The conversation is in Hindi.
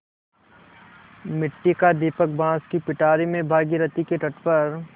मिट्टी का दीपक बाँस की पिटारी में भागीरथी के तट पर